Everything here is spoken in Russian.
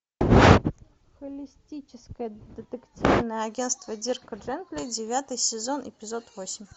холистическое детективное агенство дирка джентли девятый сезон эпизод восемь